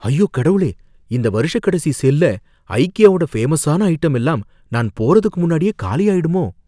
ஐயோ கடவுளே! இந்த வருஷக் கடைசி சேல்ல ஐக்கியாவோட ஃபேமஸான ஐட்டம் எல்லாம் நான் போறதுக்கு முன்னாடியே காலியாயிடுமோ?